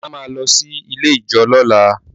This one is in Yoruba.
Ola máa lọ sí ilé ijó ní ọ̀la.